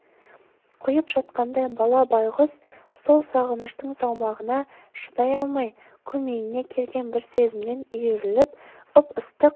құйып жатқандай бала байғұс сол сағыныштың салмағына шыдай алмай көмейіне келген бір сезімнен үйіріліп ып-ыстық